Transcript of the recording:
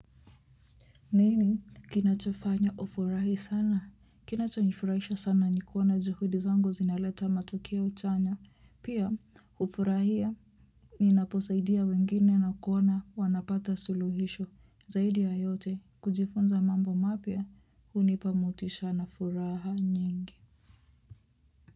Nini kinachofanya ufurahi sana kinachonifurahisha sana ni kuwa na juhudi zangu zinaleta matukio chanya pia hufurahia ninaposaidia wengine na kuwa na wanapata suluhisho zaidi ya yote kujifunza mambo mapya hunipa motisha na furaha nyingi.